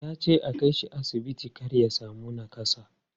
Ya ce a kai shi asibiti kar ya sami nakassa.